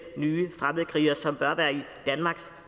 nye fremmedkrigere det bør være i danmarks